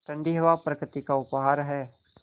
ठण्डी हवा प्रकृति का उपहार है